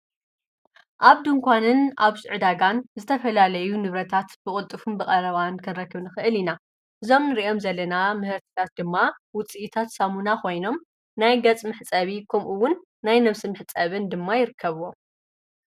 ኣብ ድንኳንን ኣብ ሸቕ ዕዳጋን ዝተፈላለዩ ንብረታት ብቕጥፉን ብቐረባን ክንረክ ንኽእል ኢና፡፡ እዞም ንርኦም ዘለና ምህርትታት ድማ ውፂኢታት ሳሙና ኾይኖም ናይ ገፅ መሕፀቢ ኽምኡውን ናይ ነብሲ መሕፀቢ ድማ ይርከብዎም፡፡